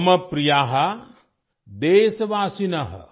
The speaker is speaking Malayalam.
മമ പ്രിയ ദേശവാസിൻ